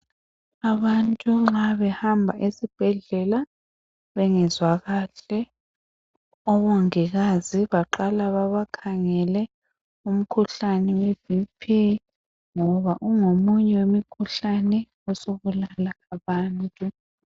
Abantu nxa behamba esibhedlela bengezwa kahle, omongikazi baqala babakhangele umkhuhlani we bhiphi ngoba ungomunye wemkhuhlane osubulala abantu.